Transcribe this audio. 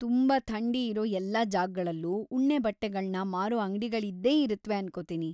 ತುಂಬಾ ಥಂಡಿ ಇರೋ ಎಲ್ಲಾ ಜಾಗ್‌ಗಳಲ್ಲೂ ಉಣ್ಣೆ ಬಟ್ಟೆಗಳ್ನ ಮಾರೋ ಅಂಗ್ಡಿಗಳಿ‌ದ್ದೇ ಇರತ್ವೆ ಅನ್ಕೊತೀನಿ.